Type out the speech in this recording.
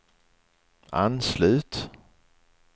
anslut